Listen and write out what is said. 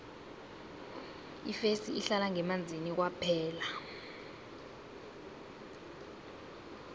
ifesi ihlala ngemanzini kwaphela